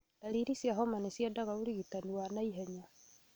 Ndariri cia homa nĩciendaga ũrigitani wa naihenya